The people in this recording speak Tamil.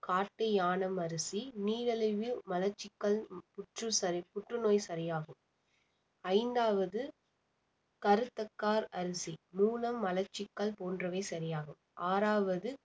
காட்டு யாணம் அரிசி நீரிழிவு மலச்சிக்கல் புற்று சரி~ புற்றுநோய் சரியாகும் ஐந்தாவது கருத்தக்கார் அரிசி மூலம் மலச்சிக்கல் போன்றவை சரியாகும் ஆறாவது